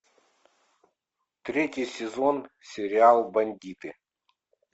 третий сезон сериал бандиты